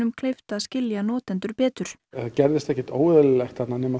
kleift að skilja notendur betur það gerðist ekkert óeðlilegt þarna nema